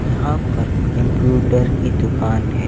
यहाँ पर कंप्यूटर की दुकान हैं।